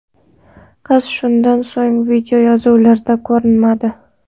Qiz shundan so‘ng videoyozuvlarda ko‘rinmadi.